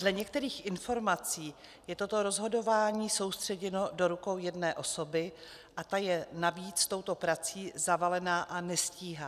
Dle některých informací je toto rozhodování soustředěno do rukou jedné osoby a ta je navíc touto prací zavalena a nestíhá.